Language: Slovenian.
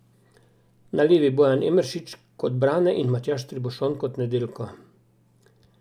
Na levi Bojan Emeršič kot Brane in Matjaž Tribušon kot Nedeljko.